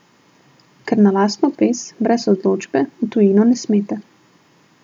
Ker na lastno pest, brez odločbe, v tujino ne smete.